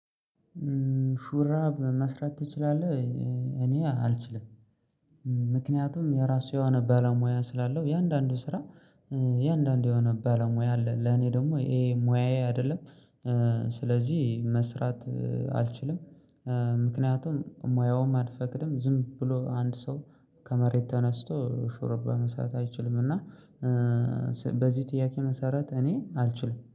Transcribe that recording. ሹራ በመስራት ትችላለህ? እኔ አልችልም። ምክንያቱም የራሱ የሆነ ባለሙያ ስላለው የአንዳንዱ ስራ የአንዳንድ የሆነ ባለሙያ አለ ለኔ ደግሞ ይሄ ሙያዬ አይደለም። ስለዚህ መስራት አልችልም። ምክንያቱም ሙያውም አልፈቅድም ዝም ብሎ አንድ ሰው ከመሬት ተነስቶ ሹርባ መስራት አይችልም። እና በዚህ ጥያቄ መሰረት እኔ አልችልም